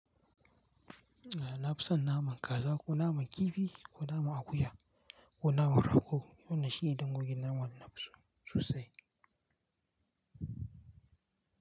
Eh na fi son naman kaza ko naman kifi ko naman akuya ko naman rago. Wannan shine dangogin nama da nafi so sosai.